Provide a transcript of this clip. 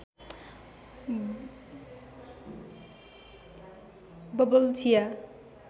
bubble चिया